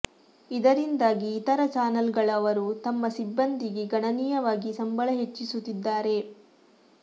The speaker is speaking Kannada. ಇದರಿಂದಾಗಿ ಇತರ ಚಾನೆಲ್ ಗಳವರು ತಮ್ಮ ಸಿಬ್ಬಂದಿಗೆ ಗಣನೀಯವಾಗಿ ಸಂಬಳ ಹೆಚ್ಚಿಸುತ್ತಿದ್ದಾರೆ